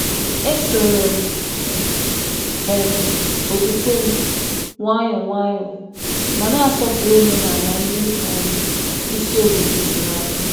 E soro m okwukwe m nwayọ nwayọ, ma na-asọpụrụ omenala ndị isi obodo tụrụ anya.